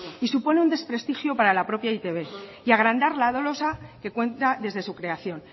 y supone un desprestigio para la propia e i te be y agrandar la dolosa que cuenta desde su creación